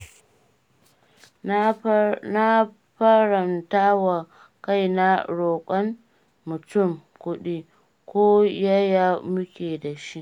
Na haramtawa kaina roƙon mutum kuɗi, ko yaya muke da shi.